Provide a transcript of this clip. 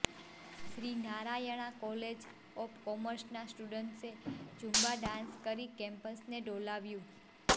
Shri Narayana college of કોમર્સના સ્ટુડન્ટ્સે Zumba dance કરી કેમ્પસને ડોલાવ્યું